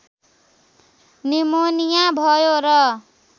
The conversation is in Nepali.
निमोनिया भयो र